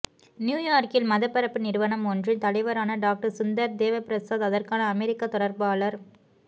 நியூயார்க்கில் மதப்பரப்பு நிறுவனம் ஒன்றின் தலைவரான டாக்டர் சுந்தர் தேவப்பிரசாத் அதற்கான அமெரிக்க தொடர்பாளர்